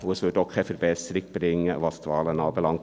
Auch brächte es keine Verbesserung, was die Wahlen anbelangt.